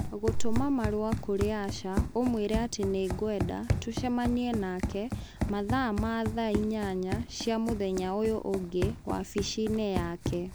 Gũtũma marũa kũrĩ Asha ũmũĩre atĩ nĩgwenda tũcemanie nake mathaa ma thaa inyanya cia mũthenya ũyũ ũngĩ wabici-inĩ yake.